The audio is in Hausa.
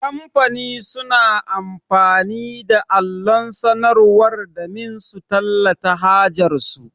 Kamfani suna amfani da allon sanarwar damin su tallata hajar su.